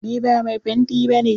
Ni ba mai fenti ba ne.